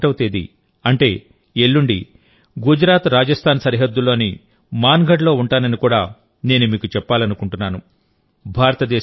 November 1వ తేదీ అంటే ఎల్లుండి గుజరాత్రాజస్థాన్ సరిహద్దుల్లోని మాన్గఢ్ లో ఉంటానని కూడా నేను మీకు చెప్పాలనుకుంటున్నాను